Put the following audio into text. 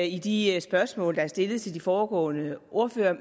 i de spørgsmål der er stillet til de foregående ordførere